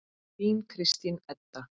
Þín Kristín Edda.